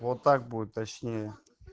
вот так будет точнее